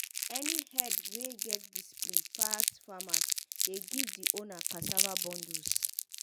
any herd wey get discipline pass farmers dey gift the owner cassava bundles.